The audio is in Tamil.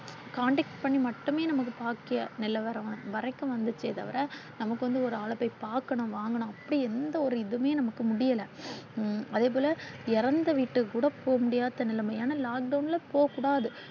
contact பண்ணி மட்டுமே நமக்கு பாக்கிய நிலவர வரைக்கும் வந்துச்சே தவிர நமக்கு வந்து ஒரு ஆளு போய் பாக்கணும் வாங்கணும் அப்படின்னு எந்த ஒரு இதுவுமே நமக்கு முடியல. அதேபோல இறந்த வீட்டுக்குகூட போக முடியாத நிலைமை. ஏன்னா lockdown ல போக கூடாது.